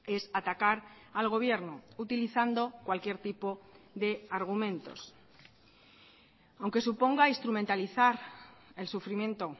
es atacar al gobierno utilizando cualquier tipo de argumentos aunque suponga instrumentalizar el sufrimiento